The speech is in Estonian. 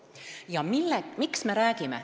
Miks me sellest räägime?